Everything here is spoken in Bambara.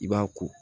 I b'a ko